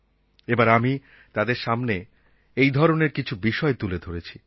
এবার আমি তাদের সামনে এই ধরণের কিছু বিষয় তুলে ধরেছি